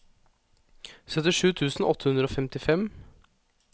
syttisju tusen åtte hundre og femtifem